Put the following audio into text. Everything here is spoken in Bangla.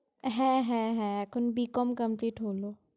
হ্যাঁ হ্যাঁ হ্যাঁ, এখন BCom complete হলো।